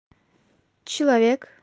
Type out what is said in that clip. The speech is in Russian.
человек